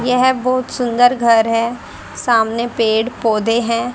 यह बहुत सुंदर घर है सामने पेड़ पौधे हैं।